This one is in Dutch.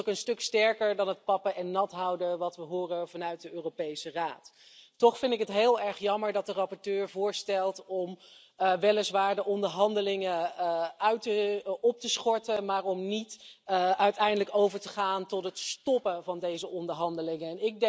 Het is ook een stuk sterker dan het pappen en nathouden dat we horen vanuit de Europese Raad. Toch vind ik het heel erg jammer dat de rapporteur voorstelt om weliswaar de onderhandelingen op te schorten, maar om uiteindelijk niet over te gaan tot het stoppen van deze onderhandelingen.